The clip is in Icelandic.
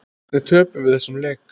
Hvernig töpuðum við þessum leik?